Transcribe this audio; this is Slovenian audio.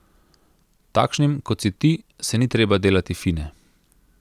Takšnim, kot si ti, se ni treba delati fine.